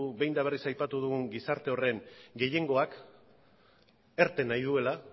behin eta berriz aipatu dugun gizarte horren gehiengoak irten nahi duela